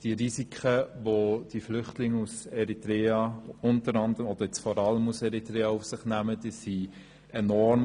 Die Risiken, welche die Flüchtlinge unter anderem oder vor allem aus Eritrea auf sich nehmen, sind enorm.